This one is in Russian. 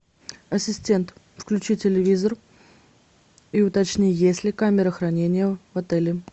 ассистент включи телевизор и уточни есть ли камера хранения в отеле